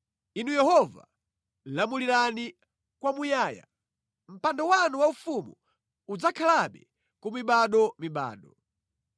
Inu Yehova, lamulirani kwamuyaya; mpando wanu waufumu udzakhalabe ku mibadomibado.